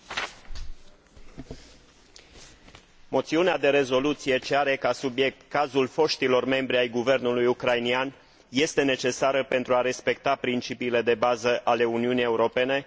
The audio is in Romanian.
Propunerea de rezoluție ce are ca subiect cazul foștilor membri ai guvernului ucrainean este necesară pentru a respecta principiile de bază ale Uniunii Europene, începând cu respectarea drepturilor omului.